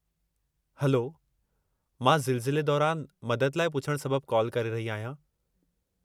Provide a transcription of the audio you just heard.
Hello, मां ज़िलज़िले दौरान मदद लाइ पुछणु सबबु कालु करे रही आहियां।